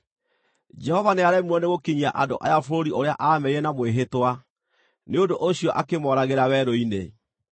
‘Jehova nĩaremirwo nĩgũkinyia andũ aya bũrũri ũrĩa aamerĩire na mwĩhĩtwa; nĩ ũndũ ũcio akĩmooragĩra werũ-inĩ.’